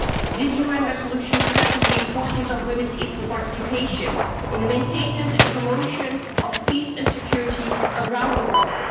This UN resolution stresses the importance of women's equal participation in the maintenance and promotion of peace and security around the globe.